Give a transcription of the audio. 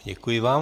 Děkuji vám.